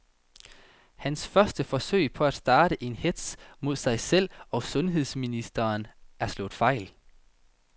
Hans første forsøg på at starte en hetz mod sig selv og sundheds ministeren er slået fejl.